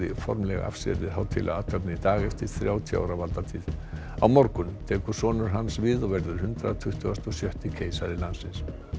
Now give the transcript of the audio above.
formlega af sér við hátíðlega athöfn í dag eftir þrjátíu ára valdatíð á morgun tekur sonur hans við og verður hundrað tuttugasta og sjötta keisari landsins